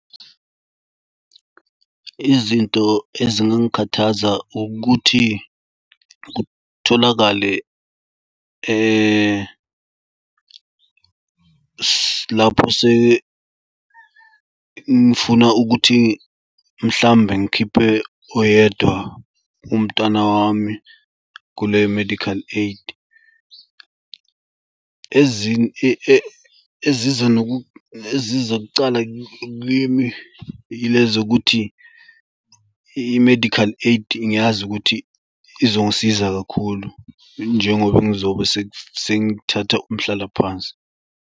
Izinto ezingangikhathaza ukuthi kutholakale lapho ngifuna ukuthi mhlawumbe ngikhipe oyedwa umntwana wami kule medical aid. Ezinye eziza eziza kucala kimi yilezo kuthi i-medical aid ngiyazi ukuthi izongisiza kakhulu njengoba ngizobe sengithatha umhlalaphansi.